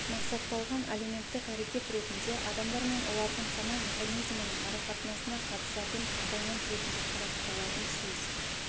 мақсатталған әлеуметтік әрекет ретінде адамдар мен олардың сана механизмінің арақатынасына қатысатын компонент ретінде қарастырылатын сөз